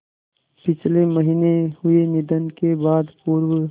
पिछले महीने हुए निधन के बाद पूर्व